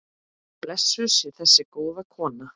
Blessuð sé þessi góða kona.